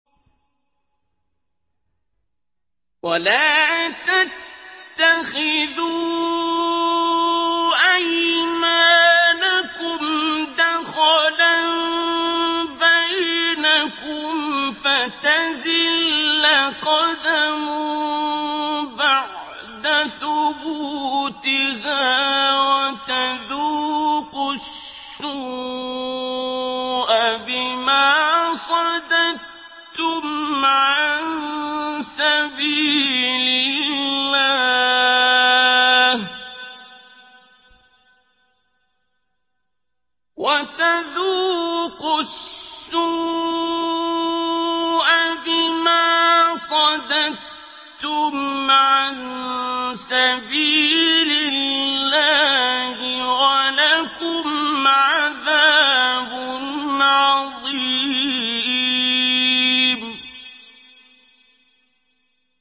وَلَا تَتَّخِذُوا أَيْمَانَكُمْ دَخَلًا بَيْنَكُمْ فَتَزِلَّ قَدَمٌ بَعْدَ ثُبُوتِهَا وَتَذُوقُوا السُّوءَ بِمَا صَدَدتُّمْ عَن سَبِيلِ اللَّهِ ۖ وَلَكُمْ عَذَابٌ عَظِيمٌ